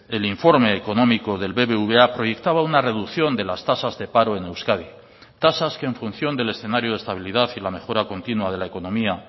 el informe económico del bbva proyectaba una reducción de las tasas de paro en euskadi tasas que en función del escenario de estabilidad y la mejora continua de la economía